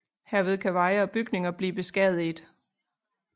Herved kan veje og bygninger blive beskadiget